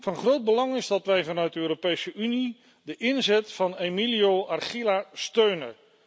Van groot belang is dat wij vanuit de Europese Unie de inzet van Emilio Archila steunen.